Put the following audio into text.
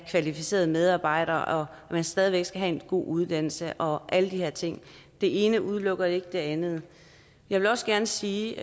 kvalificerede medarbejdere at man stadig væk skal have en god uddannelse og alle de her ting det ene udelukker jo ikke det andet jeg vil også gerne sige